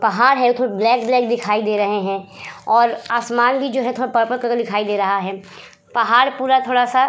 पहाड़ है थोड़े ब्लैक ब्लैक कलर के और आसमान भी जो है थोड़ा पर्पल कलर का दिखाई दे रहा है पहाड़ पूरा थोड़ा सा --